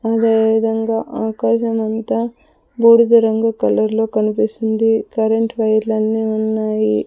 అదే విధంగా ఆకాశం అంతా బూడిద రంగు కలర్ లో కన్పిస్తుంది కరెంట్ వైర్లన్నీ ఉన్నాయి.